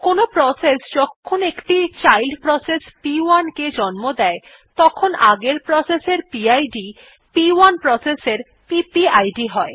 কোনো প্রসেস যখন একটি চাইল্ড প্রসেস প1 কে জন্ম দেয় তখন আগের প্রসেস এর পিড প1 প্রসেস এর পিপিআইডি হয়